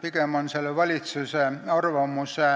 Pigem on valitsuse arvamuse